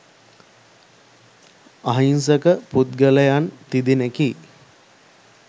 අහිංසක පුද්ගලයන් තිදෙනෙකි